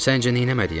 Səncə neyləməliyəm?